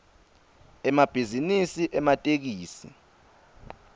emabhizinisi ematekisi